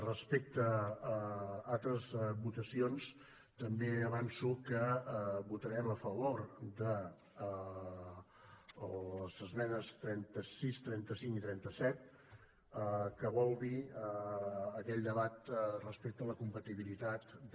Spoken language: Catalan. respecte a altres votacions també avanço que votarem a favor de les esmenes trenta sis trenta cinc i trenta set que vol dir aquell debat respecte a la compatibilitat de